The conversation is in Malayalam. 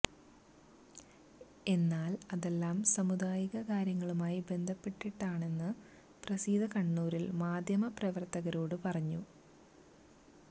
എന്നാൽ അതെല്ലാം സാമുദായിക കാര്യങ്ങളുമായി ബന്ധപ്പെട്ടിട്ടാണെന്ന് പ്രസീത കണ്ണൂരിൽ മാധ്യമ പ്രവർത്തരോട് പറഞ്ഞു